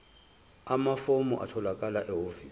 amafomu atholakala ehhovisi